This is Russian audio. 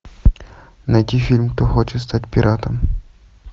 найти фильм кто хочет стать пиратом